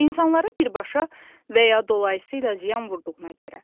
İnsanlara birbaşa və ya dolayısı ilə ziyan vurduğuna görə.